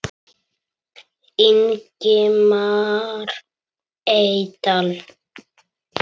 Ingimar Eydal